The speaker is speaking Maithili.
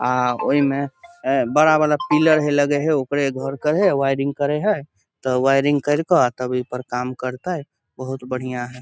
आ ओय में अ बड़ा वला पिलर है लगे है ओकरे घर के है वायरिंग करे है त वायरिंग केर के तब ए पर काम करते बहुत बढ़िया है।